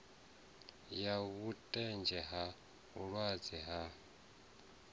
ya vhutanzi ha muhweleli na